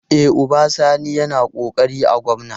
E, Uba Sani yana ƙoƙari a gwamna.